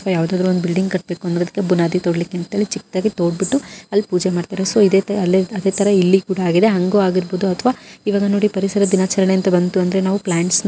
ಯಾವದಾದ್ರು ಒಂದು ಬಿಲ್ಡಿಂಗ್ ಕಟ್ಟಬೇಕೋ ಅನ್ನೋದಕ್ಕೆ ಬುನಾದಿ ತೋಡಿಲಿಕ್ಕೆ ಅಂತಾನೆ ಚಿಕ್ಕದಾಗಿ ತೊದ್ಬಿಟ್ಟು ಅಲ್ಲಿ ಪೂಜೆ ಮಾಡ್ತಾರೆ ಸೊ ಇದೆ ತರಹ ಅಲ್ಲಿ ಕೂಡ ಆಗಿದೆ ಹಂಗು ಆಗಿರ್ಬಹುದು ಅಥವಾ ಇವಾಗ ನೋಡಿ ಪರಿಸರ ದಿನಾಚರಣೆ ಅಂತ ಬಂತು ಅಂದ್ರೆ ನಾವು ಪ್ಲಾಂಟ್ಸ್ ನ---